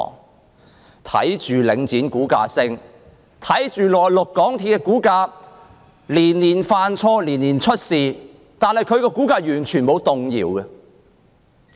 我們看到領展的股價上升，又看到港鐵公司雖然連年犯錯，連年出事，但其股價卻完全沒有動搖。